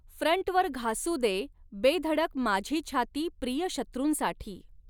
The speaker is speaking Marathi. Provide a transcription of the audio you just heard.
फ्रंटवर घासू दे बेधडक माझी छाती प्रिय शत्रूंसाठी